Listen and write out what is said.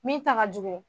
Min ta ka jugu